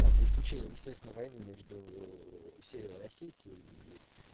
там за исключением естественно войны между уу северной осетии и